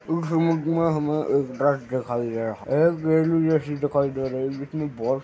इस ईमेज मे हमे एक ड्रेस दिखाई दे रहा है। एक जैसी दिखाई दे रही है जिसमे बहोत --